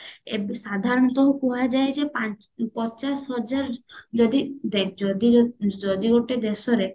ଏବେ ସାଧାରଣତ କୁହାଯାଏ ଯେ ପା ପଚାଶ ହଜାର ଯଦି ଦେଖ ଯଦି ଯଦି ଗୋଟେ ଦେଶରେ